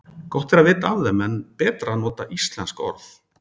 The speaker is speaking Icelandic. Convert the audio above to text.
Gott er að vita af þeim en betra að nota íslensk orð.